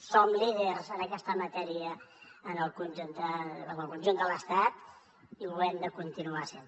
som líders en aquesta matèria en el conjunt de l’estat i ho hem de continuar sent